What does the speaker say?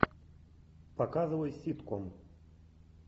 показывай ситком